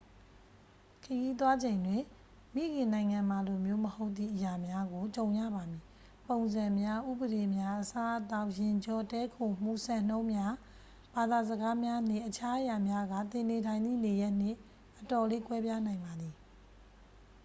"ခရီးသွားချိန်တွင် "မိခင်နိုင်ငံမှာလိုမျိုး" မဟုတ်သည့် အရာများကို ကြုံရပါမည်။ ပုံစံများ၊ ဥပဒေများ၊ အစားအသောက်၊ ယာဉ်ကြော၊ တည်းခိုမှု၊ စံနှုန်းများ၊ ဘာသာစကားများနှင် အခြားအရာများက သင်နေထိုင်သည့်နေရပ်နှင့် အတော်လေး ကွဲပြားနိုင်ပါသည်။